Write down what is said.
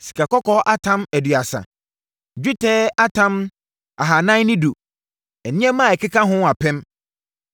sikakɔkɔɔ atam 2 30 1 dwetɛ atam 2 410 1 nneɛma a ɛkeka ho 2 1,000